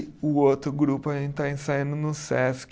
O outro grupo, a gente está ensaiando no Sesc,